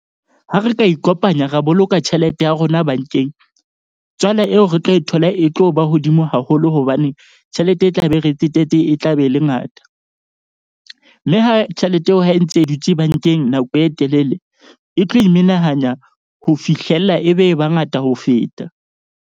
Ha re ka ikopanya ra boloka tjhelete ya rona bank-eng, tswala eo re tlo e thola e tlo ba hodimo haholo hobane tjhelete e tla be re tsetetse e tlabe e le ngata. Mme ha tjhelete eo ha e ntse e dutse bank-eng, nako e telele e tlo e menahanya ho fihlella, ebe e ba ngata ho feta.